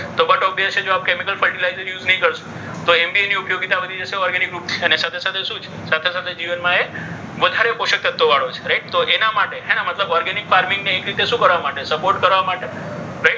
તો but obvious છે. કે આપ chemical fertilizer use નહીં કરશો. તો એમ બી એની ઉપયોગીતા વધી જશે. એના સાથે સાથે શું છે? સાથે સાથે જીવનમાં એ વધારે પોષક તત્વો વાળો છે. right તો એના માટે હે ને મતલબ organic farming ની એક રીતે શું કરવા માટે સપોર્ટ કરવા માટે.